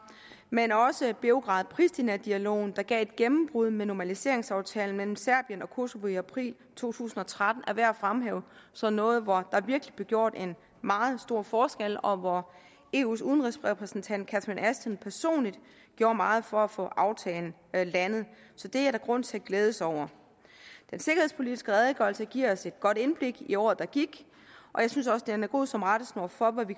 men også beograd pristina dialogen der gav et gennembrud med normaliseringsaftalen mellem serbien og kosova i april to tusind og tretten er værd at fremhæve som noget hvor der virkelig blev gjort en meget stor forskel og hvor eus udenrigsrepræsentant catherine ashton personligt gjorde meget for at få aftalen landet så det er der grund til at glæde sig over den sikkerhedspolitiske redegørelse giver os et godt indblik i året der gik og jeg synes også den er god som rettesnor for